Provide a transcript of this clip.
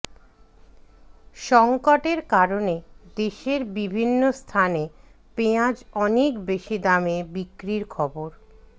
সংকটের কারণে দেশের বিভিন্ন স্থানে পেঁয়াজ অনেক বেশি দামে বিক্রির খবর